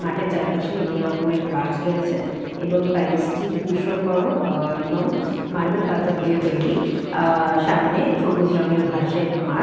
মাঠের চারপাশে বিভিন্ন রকমের গাছ রয়েছে এবং প্যালেস টি ভিষন অ্যা বর এবং মার্বেল পাথর দিয়ে তৈরি অ্যা সামনে সবুজ রঙএর ঘাসের মাঠ।